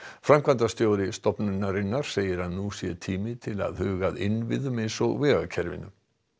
framkvæmdastjóri stofnunarinnar segir að nú sé tími til að huga að innviðum eins og vegakerfinu